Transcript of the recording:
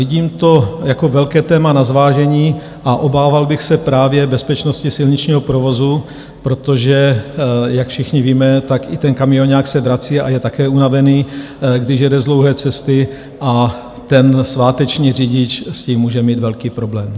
Vidím to jako velká téma na zvážení a obával bych se právě bezpečnosti silničního provozu, protože, jak všichni víme, tak i ten kamioňák se vrací a je také unavený, když jede z dlouhé cesty, a ten sváteční řidič s tím může mít velký problém.